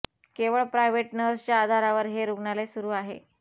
केवळ private nurse च्या आधारावर हे रुग्णालय सुरू आहे